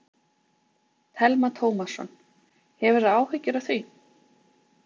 Telma Tómasson: Hefur þú áhyggjur af því?